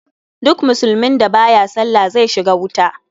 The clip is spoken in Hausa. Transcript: Duk musulmin da baya sallah zai shiga wuta.